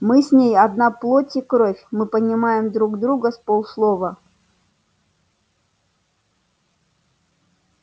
мы с ней одна плоть и кровь мы понимаем друг друга с полуслова